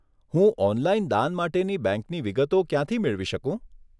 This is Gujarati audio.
હું ઓનલાઈન દાન માટેની બેંકની વિગતો ક્યાંથી મેળવી શકું?